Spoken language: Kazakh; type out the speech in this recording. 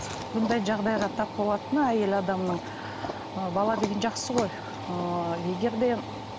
бұндай жағдайға тап болатыны әйел адамның ы бала деген жақсы ғой ыыы егер де